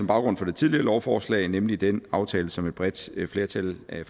baggrunden for det tidligere lovforslag nemlig den aftale som et bredt flertal af